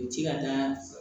U bɛ ci ka na